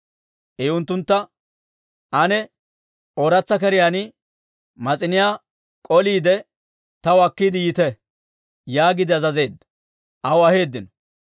I unttuntta, «Ane ooratsa keriyaan mas'iniyaa k'oliide, taw akkiide yiite» yaagiide azazeedda; aw aheeddino.